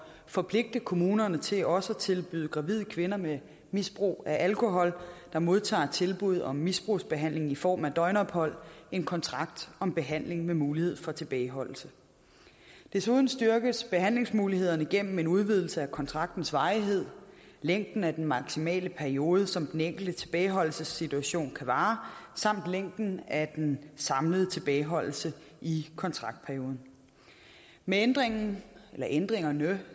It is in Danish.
forpligte kommunerne til også at tilbyde gravide kvinder med misbrug af alkohol der modtager tilbud om misbrugsbehandling i form af døgnophold en kontrakt om behandling med mulighed for tilbageholdelse desuden styrkes behandlingsmulighederne gennem en udvidelse af kontraktens varighed længden af den maksimale periode som den enkeltes tilbageholdelsessituation kan vare samt længden af den samlede tilbageholdelse i kontraktperioden med ændringerne ændringerne